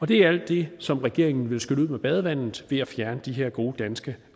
det er alt det som regeringen vil skylle ud med badevandet ved at fjerne de her gode danske